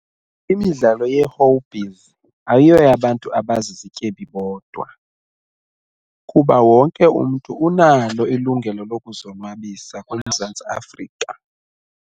Imidlalo ye-hobbies ayoyabantu abazizityebi bodwa kuba wonke umntu unalo ilungelo lokuzonwabisa kule Mzantsi Afrika.